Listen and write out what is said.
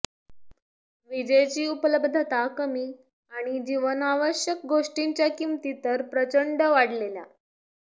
विजेची उपलब्धता कमी आणि जीवनावश्यक गोष्टींच्या किमती तर प्रचंड वाढलेल्या